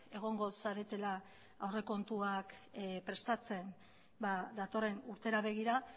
egongo zaretela aurrekontuak prestatzen datorren urtera begira